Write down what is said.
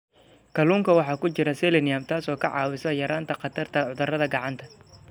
Kalluunka waxaa ku jira selenium, taas oo ka caawisa yaraynta khatarta cudurada gacanta.